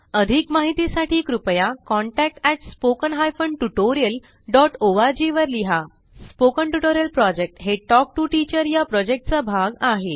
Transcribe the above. अधिक माहितीसाठी कृपया contact at spoken hyphen tutorial dot O R G वर लिहा स्पोकन ट्युटोरियल प्रॉजेक्ट हे टॉक टू टीचर या प्रॉजेक्टचा भाग आहे